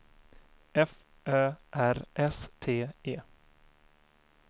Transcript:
F Ö R S T E